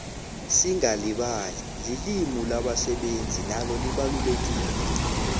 singalibali lilimi labasebenzi nalo libalulekile